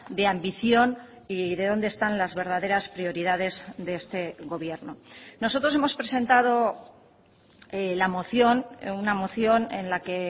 de ambición y de dónde están las verdaderas prioridades de este gobierno nosotros hemos presentado la moción una moción en la que